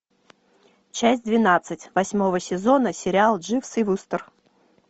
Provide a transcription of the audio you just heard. часть двенадцать восьмого сезона сериал дживс и вустер